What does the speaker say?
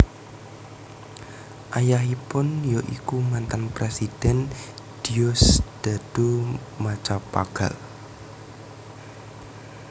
Ayahipun ya iku mantan Presiden Diosdado Macapagal